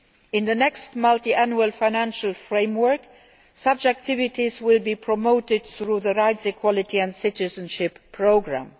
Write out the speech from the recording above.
In the next multiannual financial framework, such activities will be promoted through the Rights, Equality and Citizenship Programme.